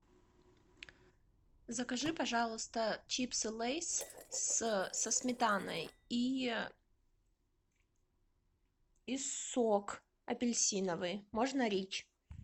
закажи пожалуйста чипсы лейс со сметаной и сок апельсиновый можно рич